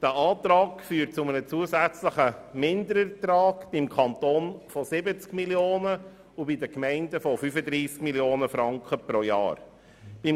Dieser Antrag führt jährlich zu einem zusätzlichen Minderertrag von 70 Mio. Franken seitens des Kantons und von 35 Mio. Franken seitens der Gemeinden.